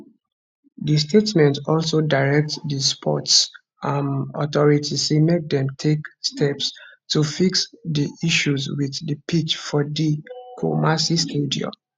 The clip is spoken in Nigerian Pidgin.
di statement also direct di sports um authority say make dem take steps to fix di issues wit di pitch for di kumasi stadium